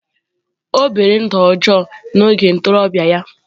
O biri ndụ ọjọọ n'oge ntorobịa ya.